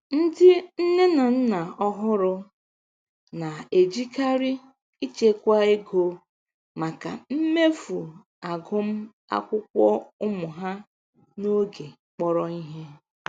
Ndị nne na nna ọhụrụ na-ejikarị ịchekwa ego maka mmefu agụmakwụkwọ ụmụ ha n'oge kpọrọ ihe.